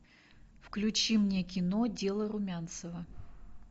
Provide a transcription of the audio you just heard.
включи мне кино дело румянцева